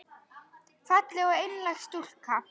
Falleg og einlæg stúlka.